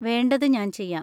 വേണ്ടത് ഞാൻ ചെയ്യാം.